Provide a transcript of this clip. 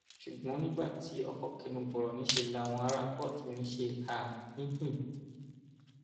ṣùgbọn nígbà tí ọkọ kẹnu bọrọ níṣẹ làwọn ará kóòtù ń ṣe háà hìnín